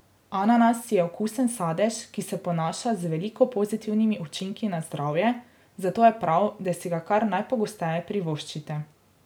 Ananas je okusen sadež, ki se ponaša z veliko pozitivnimi učinki na zdravje, zato je prav, da si ga kar najpogosteje privoščite.